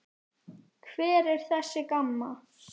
Hver er þessi Gamma?